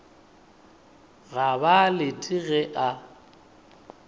ga ba lete ge a